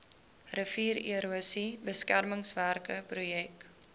riviererosie beskermingswerke projek